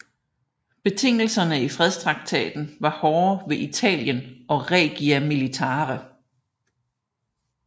Betingelserne i fredstraktaten var hårde ved Italien og Regia Militare